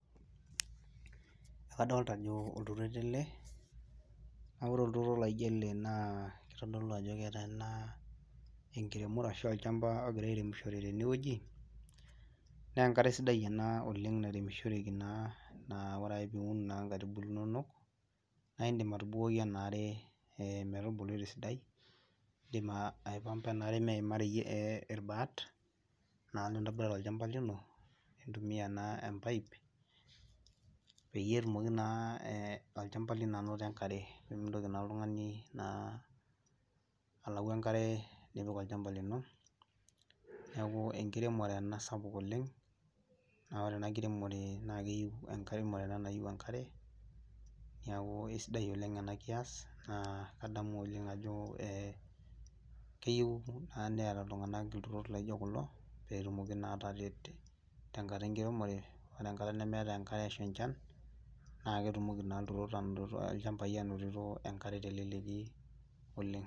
Adolita olturoto ele na ore olturoto na kitodolu ajo keeta enkiremore ashu olchamba ogirai arem tenewueji na enkare sidai ena niremishoreki na ore piun nkaitubulu inonok na indim nibukoki enaare metubulu te sidai indim aipanga enaare meina reyiet irbaat nintobira tolchamba lino nintumia empipe peyie etumoki olchamba lino ainoto enkare pimitoki oltungani na alau enkare nipik olchanba lino neaku enkiremore ena sapuk oleng na ore ena kiremore nayieu enkare neaku aisidai oleng enakias na kanyor ajo keyieu Neeta ltunganak ntokitin naijo kulo petumoki ateyier tenkata enkiremore o tenkara nemeetae enchan na ketumoki na lchambai ainotito enkare teleleki oleng.